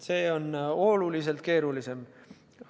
See on oluliselt keerulisem.